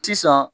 Sisan